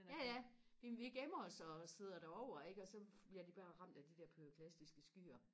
ja ja vi gemmer os og sidder det over ikke og så bliver de bare ramt af de der pyroklastiske skyer